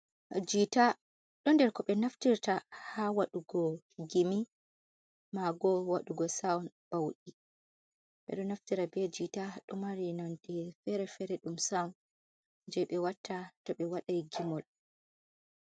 Jiita, ɗo nder ko ɓe naftirta ha waɗugo gimi maboo waɗugo sawun bauɗi, ɓedo naftira be jiita, ɗomari nonde fere fere, sawun je ɓe watta to ɓe wadai gimol.